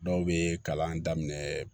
Dɔw bɛ kalan daminɛ